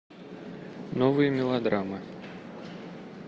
новые мелодрамы